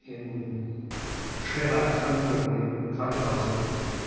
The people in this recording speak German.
in schwerer Erkrankung im Krankenhaus liegt.